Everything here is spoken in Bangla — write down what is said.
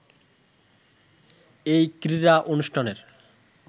এই ক্রীড়া অনুষ্ঠানের